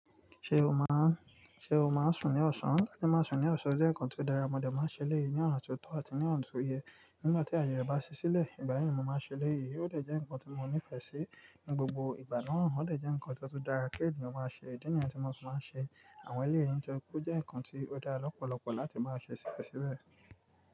Ṣé o máa ń, ṣe o máa ń sùn ní ọ̀sán? Láti máa sùn ní ọ̀sán jẹ́ nǹkan tó dára, mo dẹ̀ máa ń ṣe léyìí ní ọ̀nà tó tọ́ àti ní ọ̀nà tó yẹ. Nígbà tí àyè bá ṣe sílẹ̀, ìgbà yẹn ni mo máa ṣe léyìí, ó dẹ̀ jẹ́ ǹkan tí mo nífẹ̀ẹ́ sí ní gbogbo ìgbà náà. Ó dẹ̀ jẹ́ ǹkan tó dára kí ènìyàn máa ṣe, idi ni yen tí mo fi ma n se àwọn ẹlẹ́yì ńitori pe o jẹ́ ǹkan tí ó dára lọ́pọ̀lọpọ̀ láti máa ṣe síbẹ̀síbẹ̀.